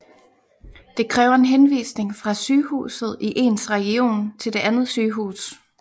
Det kræver en henvisning fra sygehuset i ens region til det andet sygehus